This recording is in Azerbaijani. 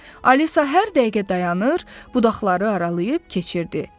Alisa hər dəqiqə dayanır, budaqları aralayıb keçirdi.